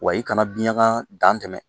Wa i kana biyanga dantɛmɛ.